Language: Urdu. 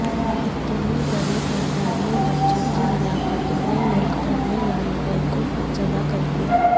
اتنی بڑی تعداد میں بچوں کی ہلاکتوں نے ملک بھر میں والدین کو ےفسردہ کردیا